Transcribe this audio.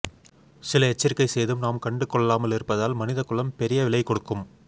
சில எச்சரிக்கை செய்தும் நாம் கண்டுகொள்ளாமல் இருப்பதால் மனித குலம் பெரிய விலை கொடுக்கும்